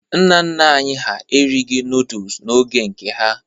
Nna nna anyị ha erighi nọdụs n'oge nke ha.